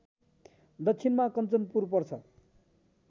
दक्षिणमा कन्चनपुर पर्छ